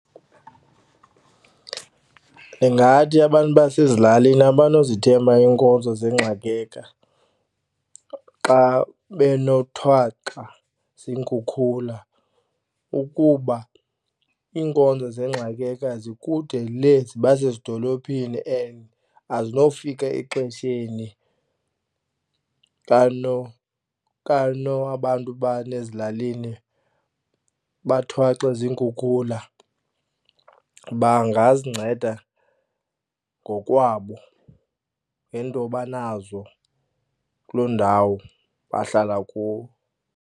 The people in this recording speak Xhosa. Ndingathi abantu basezilalini abanozithemba iinkonzo xa benothwaxwa ukuba iinkonzo zikude lee zibasezidolophini and azinofika exesheni abantu basezilalini bathwaxwe . Bangazinceda ngokwabo ngeento abanazo kuloo ndawo bahlala kuwo.